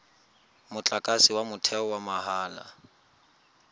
motlakase wa motheo wa mahala